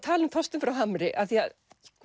tala um Þorstein frá Hamri af því að